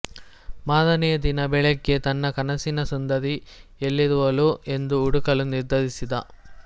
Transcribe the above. ಮಾರನೆಯ ದಿನ ಬೆಳಗ್ಗೆ ತನ್ನ ಕನಸಿನ ಸುಂದರಿ ಎಲ್ಲಿರುವಳೋ ಎಂದು ಹುಡುಕಲು ನಿರ್ಧರಿಸಿದ